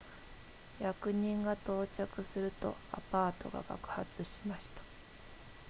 役人が到着するとアパートが爆発しました